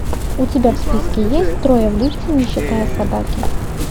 у тебя в списке есть трое в лифте не считая собаки